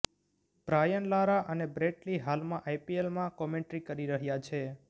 Brian Lara અને Brett Lee હાલમાં આઈપીએલમાં કોમેન્ટ્રી કરી રહ્યાં છે